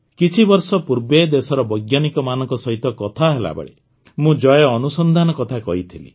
କିଛିବର୍ଷ ପୂର୍ବେ ଦେଶର ବୈଜ୍ଞାନିକମାନଙ୍କ ସହିତ କଥା ହେଲାବେଳେ ମୁଁ ଜୟ ଅନୁସନ୍ଧାନ କଥା କହିଥିଲି